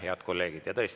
Head kolleegid!